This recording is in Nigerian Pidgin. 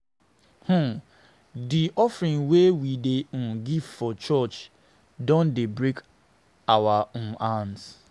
um Di offering wey we dey um give for church don dey break our um hands.